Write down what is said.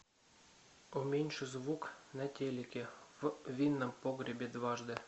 уменьши звук на телике в винном погребе дважды